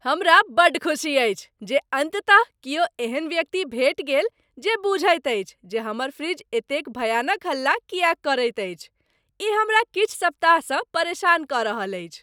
हमरा बड्ड खुशी अछि जे अन्ततः किओ एहन व्यक्ति भेटि गेल जे बुझैत अछि जे हमर फ्रिज एतेक भयानक हल्ला किएक करैत अछि, ई हमरा किछु सप्ताहसँ परेशान कऽ रहल अछि!